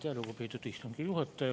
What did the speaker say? Aitäh, lugupeetud istungi juhataja!